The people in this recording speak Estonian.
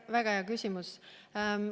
Väga hea küsimus.